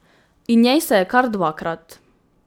In njej se je kar dvakrat.